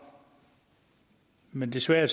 men desværre